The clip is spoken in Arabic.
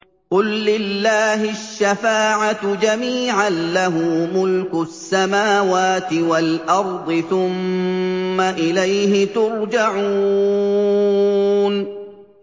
قُل لِّلَّهِ الشَّفَاعَةُ جَمِيعًا ۖ لَّهُ مُلْكُ السَّمَاوَاتِ وَالْأَرْضِ ۖ ثُمَّ إِلَيْهِ تُرْجَعُونَ